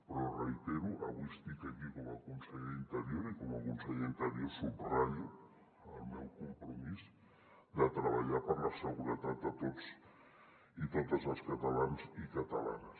però ho reitero avui estic aquí com a conseller d’interior i com a conseller d’interior subratllo el meu compromís de treballar per la seguretat de tots i totes els catalans i catalanes